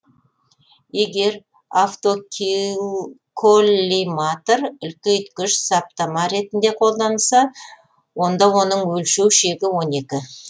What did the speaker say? егер автоколлиматор үлкейткіш саптама ретінде қолданылса онда оның өлшеу шегі он екі